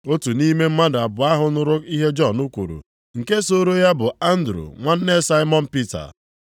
Otu nʼime mmadụ abụọ ahụ nụrụ ihe Jọn kwuru, nke sooro ya bụ Andru nwanne Saimọn Pita.